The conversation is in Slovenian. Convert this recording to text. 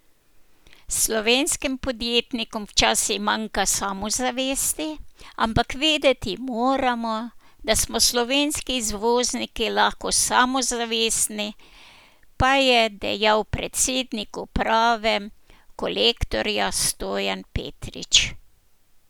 Slovenskim podjetnikom včasih manjka samozavesti, ampak vedeti moramo, da smo slovenski izvozniki lahko samozavestni, pa je dejal predsednik uprave Kolektorja Stojan Petrič.